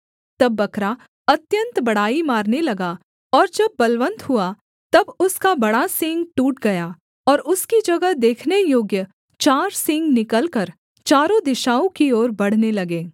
तब बकरा अत्यन्त बड़ाई मारने लगा और जब बलवन्त हुआ तक उसका बड़ा सींग टूट गया और उसकी जगह देखने योग्य चार सींग निकलकर चारों दिशाओं की ओर बढ़ने लगे